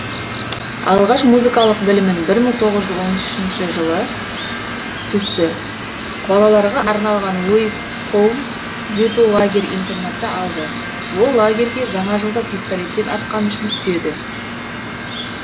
алғаш музыкалық білімін бір мың тоғыз жүз он үшінші жылы түсті балаларға арналған уэйф с хоум түзету лагерь интернатта алды ол лагерьге жаңа жылда пистолеттен атқаны үшін түседі